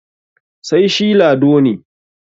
sai shi Lado ne